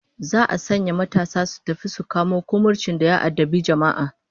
Za'a sanya matasa su tafi su kamo kumurcin da ya addabi jama'a